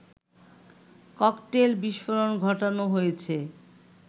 cocktail বিস্ফোরণ ঘটানো হয়েছে